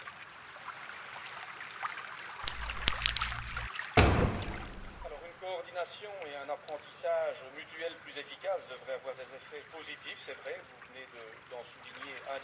Une coordination et un apprentissage mutuels plus efficaces devraient avoir des effets positifs, c'est vrai, vous venez d'en souligner un des aspects, concernant la réalisation des objectifs communs en matière sociale.